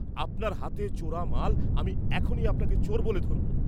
আপনার হাতে চোরা মাল আমিই এখনি আপনাকে চোর বলে ধরব।